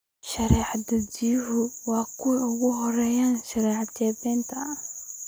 Sharci-dajiyayaashu waa kuwa ugu horreeya sharci-jebinta